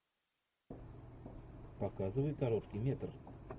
показывай короткий метр